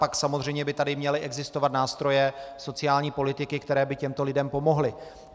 Pak samozřejmě by tady měly existovat nástroje sociální politiky, které by těmto lidem pomohly.